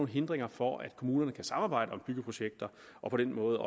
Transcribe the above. hindringer for at kommunerne kan samarbejde om byggeprojekter og på den måde